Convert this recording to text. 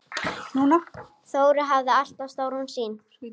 Þórir hafði alltaf stóra sýn.